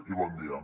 i bon dia